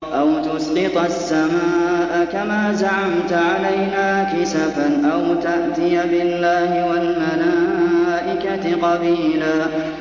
أَوْ تُسْقِطَ السَّمَاءَ كَمَا زَعَمْتَ عَلَيْنَا كِسَفًا أَوْ تَأْتِيَ بِاللَّهِ وَالْمَلَائِكَةِ قَبِيلًا